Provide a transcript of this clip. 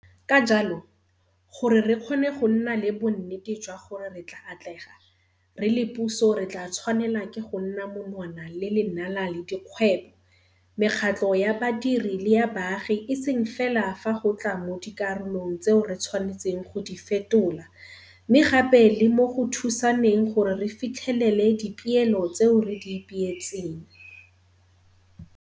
Ka jalo, gore re kgone go nna le bonnete jwa gore re tla atlega, re le puso re tla tshwanelwa ke go nna monwana le lenala le dikgwebo, mekgatlho ya badiri le ya baagi e seng fela fa go tla mo dikarolong tseo re tshwanetseng go di fetola, mme gape le mo go thusaneng gore re fitlhelele dipeelo tseo re di ipeetseng.